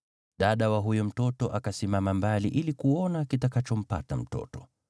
Dada ya huyo mtoto akasimama mbali ili kuona kitakachompata mtoto.